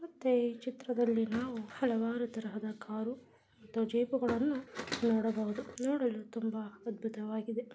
ಮತ್ತೆ ಈ ಚಿತ್ರದಲ್ಲಿ ನಾವು ಹಲವಾರು ತರಹದ ಕಾರು ಅಥವಾ ಜೀಪುಗಳನ್ನು ನೋಡಬಹುದು ನೋಡಲು ತುಂಬಾ ಅದ್ಭುತವಾಗಿದೆ.